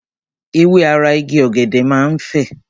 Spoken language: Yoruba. Ewé ara Igi ọ̀gẹ̀dẹ̀ máa ń fè.